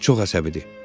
O çox əsəbidir.